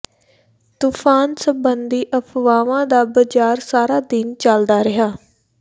ਤੂਫ਼ਾਨ ਸਬੰਧੀ ਅਫ਼ਵਾਹਾਂ ਦਾ ਬਾਜ਼ਾਰ ਸਾਰਾ ਦਿਨ ਚੱਲਦਾ ਰਿਹਾ